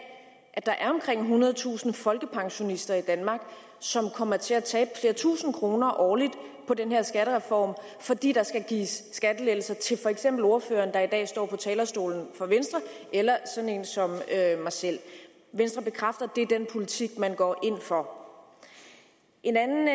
at der er omkring ethundredetusind folkepensionister i danmark som kommer til at tabe flere tusinde kroner årligt på den her skattereform fordi der skal gives skattelettelser til for eksempel ordføreren der i dag står på talerstolen for venstre eller sådan en som mig selv venstre bekræfter at det er den politik man går ind for et andet